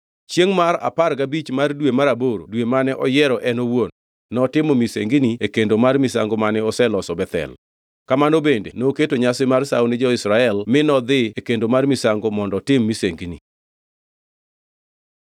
Chiengʼ mar apar gabich mar dwe mar aboro, dwe mane oyiero en owuon, notimo misengini e kendo mar misango mane oloso Bethel. Kamano bende noketo nyasi mar sawo ni jo-Israel mi nodhi e kendo mar misango mondo otim misengini.